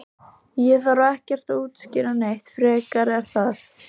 Ég þarf ekkert að útskýra það neitt frekar er það?